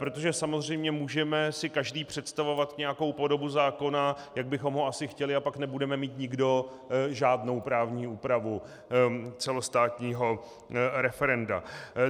Protože samozřejmě si můžeme každý představovat nějakou podobu zákona, jak bychom ho asi chtěli, a pak nebudeme mít nikdo žádnou právní úpravu celostátního referenda.